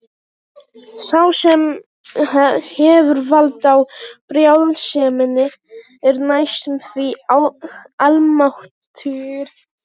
Sá sem hefur vald á brjálseminni er næstum því almáttugur.